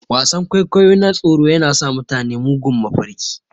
Wasan-kwaikwayo na tsoro yana sa mutane mugun mafarki.